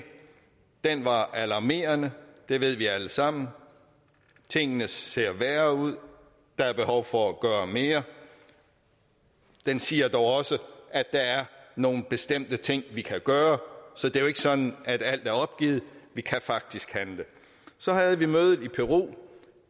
den var alarmerende det ved vi alle sammen tingene ser værre ud og der er behov for at gøre mere den siger dog også at der er nogle bestemte ting vi kan gøre så det er jo ikke sådan at alt er opgivet vi kan faktisk handle så havde vi mødet i peru